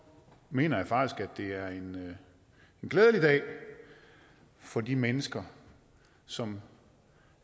mener jeg faktisk at det er en glædelig dag for de mennesker som